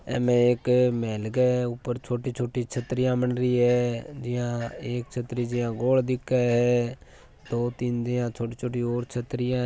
येमे एक मेहल के ऊपर छोटी छोटी छत्रीयां मन्डरी है जिया एक छत्री ज्या गोल दिखे है दो तीन यहाँ छोटी छोटी और छतरीयां है।